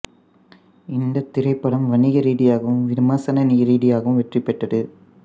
இந்தத் திரைப்படம் வணிக ரீதியாகவும் விமர்சன ரீதியாகவும் வெற்றி பெற்றது